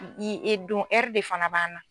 I e don de fana b'an na.